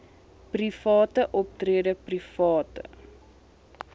private optrede private